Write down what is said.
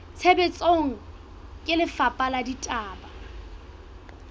tshebetsong ke lefapha la ditaba